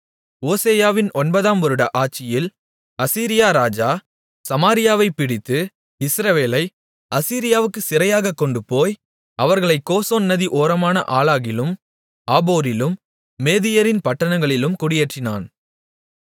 ஓசெயாவின் ஒன்பதாம் வருட ஆட்சியில் அசீரியா ராஜா சமாரியாவைப் பிடித்து இஸ்ரவேலை அசீரியாவுக்குச் சிறையாகக் கொண்டுபோய் அவர்களைக் கோசான் நதி ஓரமான ஆலாகிலும் ஆபோரிலும் மேதியரின் பட்டணங்களிலும் குடியேற்றினான்